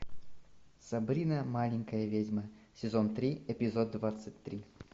сабрина маленькая ведьма сезон три эпизод двадцать три